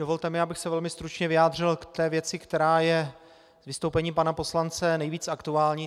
Dovolte mi, abych se velmi stručně vyjádřil k té věci, která je z vystoupení pana poslance nejvíc aktuální.